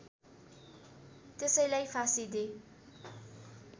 त्यसैलाई फाँसी दे